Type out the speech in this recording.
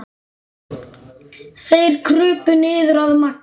Þeir krupu niður að Magga.